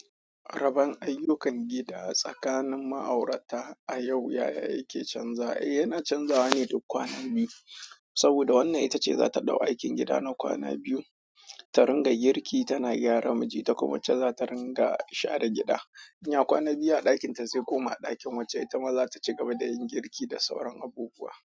Raban ayyukan gida tsakanin ma'aurata a yau, yaya yake canza? Eh, yana canzawa ne da kwana biyu, saboda wannan ita ce za ta ɗau aikin gida na kwana biyu, ta ringa girki, tana gyara miji ta kuma wacce za ta ringa share gida. In ya kwana biyu a ɗakin ta zai koma a ɗakin wacce ita ma za ta cigaba da yin girki da sauran abubuwa.